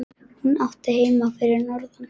Hún átti heima fyrir norðan.